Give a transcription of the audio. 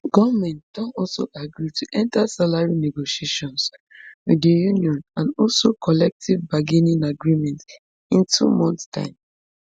goment don also agree to enta salary negotiations wit di union and also collective bargaining agreement in two months time